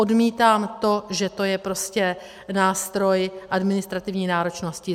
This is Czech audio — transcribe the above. Odmítám to, že to je prostě nástroj administrativní náročnosti.